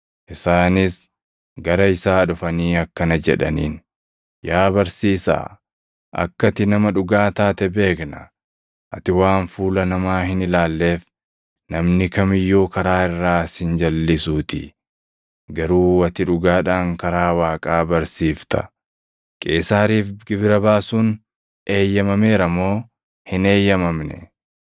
Isaanis gara isaa dhufanii akkana jedhaniin; “Yaa barsiisaa, akka ati nama dhugaa taate beekna. Ati waan fuula namaa hin ilaalleef namni kam iyyuu karaa irraa si hin jalʼisuutii; garuu ati dhugaadhaan karaa Waaqaa barsiifta. Qeesaariif gibira baasuun eeyyamameera moo hin eeyyamamne?